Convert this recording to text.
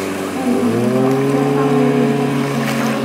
Halgan kox koxaha uku weyn dalka Somalia.